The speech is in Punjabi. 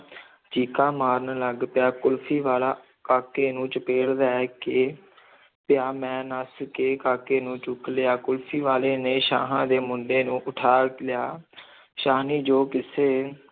ਚੀਕਾਂ ਮਾਰਨ ਲੱਗ ਪਿਆ, ਕੁਲਫ਼ੀ ਵਾਲਾ ਕਾਕੇ ਨੂੰ ਚਪੇੜ ਲੈ ਕੇ ਪਿਆ, ਮੈਂ ਨੱਸ ਕੇ ਕਾਕੇ ਨੂੰ ਚੁੱਕ ਲਿਆ, ਕੁਲਫ਼ੀ ਵਾਲੇ ਨੇ ਸ਼ਾਹਾਂ ਦੇ ਮੁੰਡੇ ਨੂੰ ਉਠਾ ਲਿਆ ਸ਼ਾਹਣੀ, ਜੋ ਕਿਸੇ